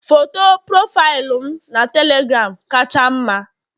Foto profaịlụ m na telegram kacha mma